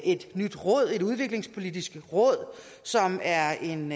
et nyt udviklingspolitisk råd som er en